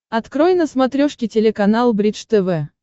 открой на смотрешке телеканал бридж тв